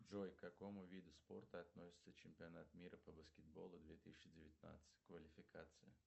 джой к какому виду спорта относится чемпионат мира по баскетболу две тысячи девятнадцать квалификация